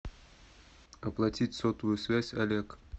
оплатить сотовую связь олег